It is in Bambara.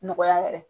Nɔgɔya yɛrɛ